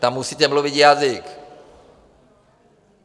Tam musíte mluvit jazykem.